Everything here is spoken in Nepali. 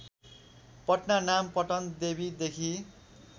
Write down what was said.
पटना नाम पटनदेवीदेखि